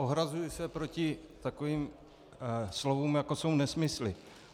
Ohrazuji se proti takovým slovům, jako jsou nesmysly.